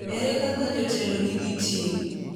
Ere kaka jotelo nigi ting’?